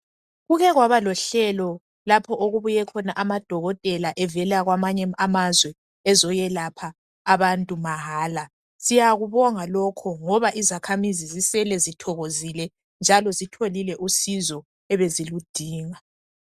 Kuke kwaba lohlelo lapha okubuye khona amadokotela evela kwamanye amazwe ezoyelapha abantu mahala. Siyakubonga lokho ngoba izakhamuzi zisele zithokozile njalo zilutholile usizo ebeziludinga.